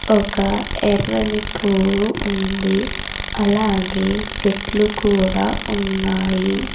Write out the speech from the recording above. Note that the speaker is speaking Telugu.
ఒక ఎర్రని పువ్వు ఉంది అలాగే చెట్లు కూడా ఉన్నాయి.